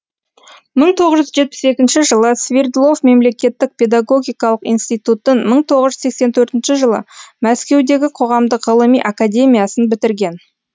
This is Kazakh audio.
мың тоғыз жүз жетпіс екінші жылы свердлов мемлекеттік педагогикалық институтын мың тоғыз жүз сексен төртінші жылы мәскеудегі қоғамдық ғылыми академиясын бітірген